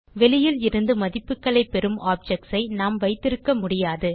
வெளியில் இருந்து மதிப்புகளை பெறும் ஆப்ஜெக்ட்ஸ் ஐ நாம் வைத்திருக்க முடியாது